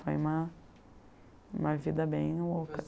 Foi uma uma vida bem louca